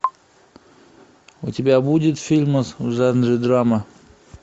у тебя будет фильм в жанре драма